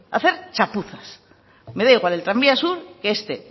hacer chapuzas me da igual el tranvía sur que este